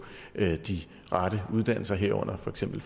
de rette uddannelser herunder for eksempel